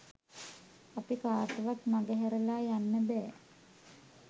අපි කාටවත් මඟහැරලා යන්න බෑ.